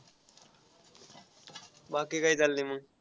बाकी काय चाललंय मग.